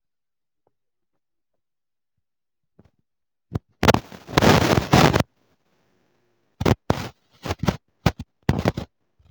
ɪ̣dị̄ nā-èwepùte otù ụzọ̀ n’ime ego ndewe mmadụ̀ màkà ijì nye ònyìnye efù nà-èwuli inyē èkele nà ntachi obì n’ihe gbàsara egō.